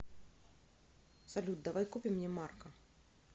салют давай купим мне марка